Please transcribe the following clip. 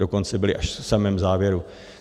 Dokonce byly až v samém závěru.